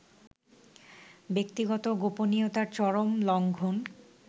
ব্যক্তিগত গোপনীয়তার চরম লংঘন